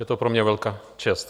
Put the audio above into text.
Je to pro mě velká čest.